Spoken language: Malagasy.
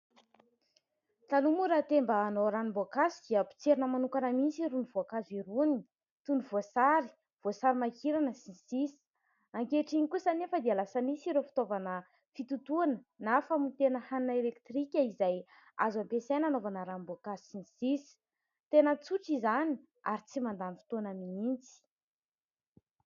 Taloha moa raha te mba hanao ranom-boankazo dia potserina manokana mihitsy irony voankazo irony. Toy ny voasary, voasarimakirana sy ny sisa. Ankehitriny kosa anefa dia lasa misy ireo fitaovana fitotoana na famotehana hanina elektrika izay azo ampiasaina hanaovana ranom-boankazo sy ny sisa. Tena tsotra izany ary tsy mandany fotoana mihitsy.